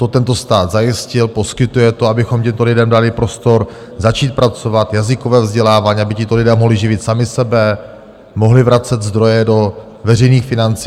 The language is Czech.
To tento stát zajistil, poskytuje to, abychom těmto lidem dali prostor začít pracovat, jazykové vzdělávání, aby tito lidé mohli živit sami sebe, mohli vracet zdroje do veřejných financí.